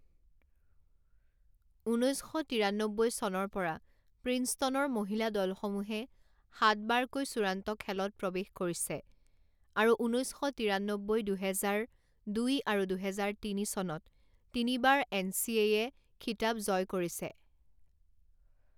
ঊনৈছ শ তিৰান্নব্বৈ চনৰ পৰা প্ৰিন্সটনৰ মহিলা দলসমূহে সাতবাৰকৈ চূড়ান্ত খেলত প্ৰৱেশ কৰিছে আৰু ঊনৈছ শ তিৰান্নব্বৈ দুহেজাৰ দুই আৰু দুহেজাৰ তিনি চনত তিনিবাৰ এনচিএয়ে খিতাপ জয় কৰিছে।